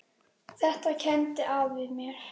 Þetta kenndi afi mér.